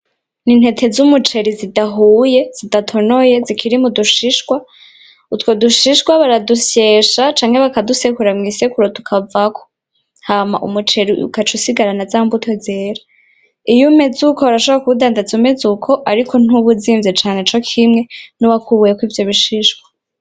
Ni ntete zumuceri zidahuye, zidatonoye zikiri mudushishwa, utwo dushishwa baradusyesha canke bakadusekura mw'isekuro tukavako ,hama umuceri ukaca usigarana zambuto zera iyo umeze uko urashobora kuwudandaza umeze uko ariko ntuba uzinvye cane cokimwe nuwakuweko ivyo bisishwa.